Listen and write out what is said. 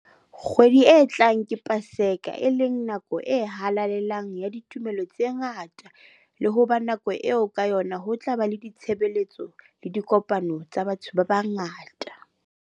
Kgwedi e tlang ke Paseka, e leng nako e halalelang ya ditumelo tse ngata le ho ba nako eo ka yona ho tla ba le ditshebeletso le dikopano tsa batho ba bangata.